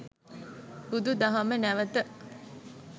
බුදුදහම නැවත